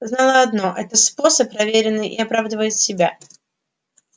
знала одно это способ проверенный и оправдывает себя